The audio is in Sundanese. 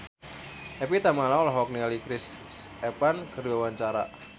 Evie Tamala olohok ningali Chris Evans keur diwawancara